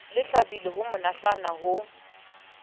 le tjhabile le monatjana ho